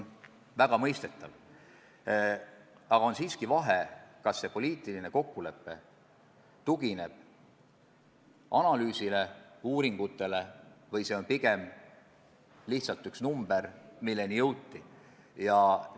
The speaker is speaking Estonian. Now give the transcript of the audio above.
Aga on siiski vahe, kas poliitiline kokkulepe tugineb analüüsile, uuringutele või see on pigem lihtsalt üks number, milleni kuidagimoodi jõuti.